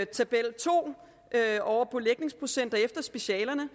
tabel to over belægningsprocenter efter specialerne